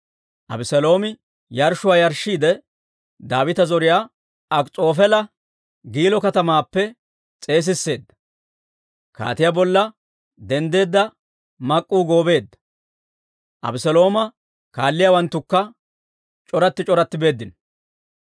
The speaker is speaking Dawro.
Abeseeloomi yarshshuwaa yarshshiidde, Daawita zoriyaa Akis'oofeela Giilo katamaappe s'eesisseedda; kaatiyaa bolla denddeedda mak'k'uu goobeedda; Abeselooma kaalliyaawanttukka c'oratti c'oratti beeddino.